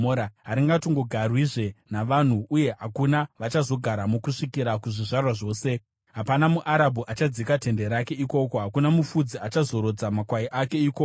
Haringatongogarwizve navanhu uye hakuna vachazogaramo kusvikira kuzvizvarwa zvose; hapana muArabhu achadzika tende rake ikoko, hakuna mufudzi achazorodza makwai ake ikoko.